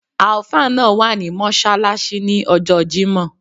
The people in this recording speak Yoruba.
Alfa náà wà ní mọ́ṣáláṣí ní ọjọ́ọ jímọ̀.